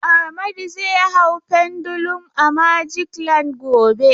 Amadu zai hau Pendulum a magic land gobe.